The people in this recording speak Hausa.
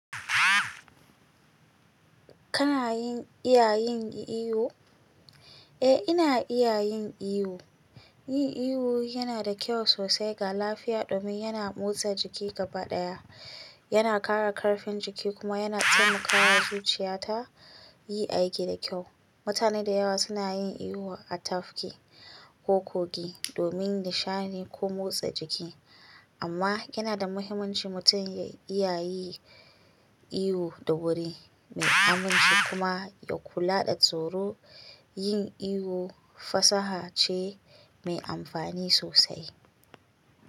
Kana yin iya yin iyo? Eh, ina iya yin iyo. Yin iyo yana da kyau sosai ga lafiya domin yana motsa jiki gabaɗaya. Yana ƙara ƙarfin jiki kuma yana taimakawa zuciya ta yi aiki da kyau. Mutane da yawa suna yin iyo a tafki ko kogi domin nishaɗi ko motsa jiki. Amma yana da muhimmanci mutum ya iya yi iyo da wuri mai aminci kuma ya kula da tsoro. Yin iyo fasaha ce mai amfani sosai.